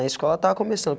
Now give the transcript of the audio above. Na escola estava começando.